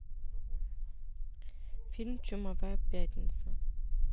фильм чумовая пятница